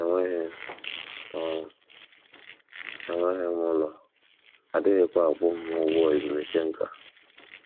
Enweghị m ọrụ, enweghị m ụlọ, a dịghịkwa akwụ m ụgwọ ezumike nká.